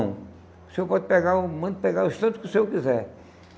O senhor pode pegar, manda pegar o tanto que o senhor quiser.